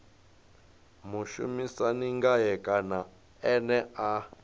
mushumisani ngae kana ene a